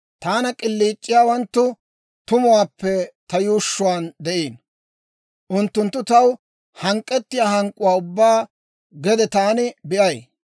Taana k'iliic'iyaawanttu tumuwaappe ta yuushshuwaan de'iino; unttunttu taw hank'k'etiyaa hank'k'uwaa ubbaa gede taani be'ay.